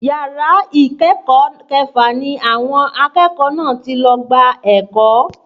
Yàrá ìkẹ́kọ̀ọ́ kẹfà ni àwọn akẹ́kọ̀ọ́ náà ti lọ gba ẹ̀kọ́